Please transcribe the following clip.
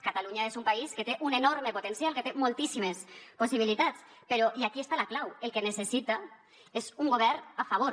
catalunya és un país que té un enorme potencial que té moltíssimes possibilitats però i aquí està la clau el que necessita és un govern a favor